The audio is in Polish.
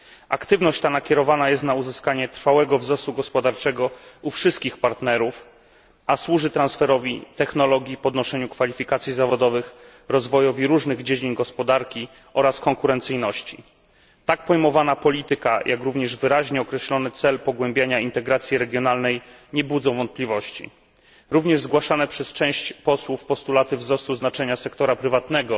Aktywność ta nakierowana jest na uzyskanie trwałego wzrostu gospodarczego u wszystkich partnerów, a służy transferowi technologii, podnoszeniu kwalifikacji zawodowych, rozwojowi różnych dziedzin gospodarki oraz konkurencyjności. Tak pojmowana polityka, jak również wyraźnie określony cel pogłębiania integracji regionalnej, nie budzą wątpliwości. Również zgłaszane przez część posłów postulaty wzrostu znaczenia sektora prywatnego